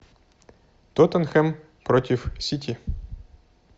тоттенхэм против сити